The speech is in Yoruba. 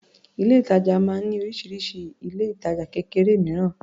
Ilé-ìtàjà máa ń ní oríṣiríṣi ilé-ìtajà kékeré mìíràn.